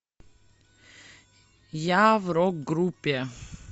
я в рок группе